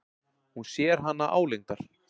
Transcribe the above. Hún sér hana álengdar.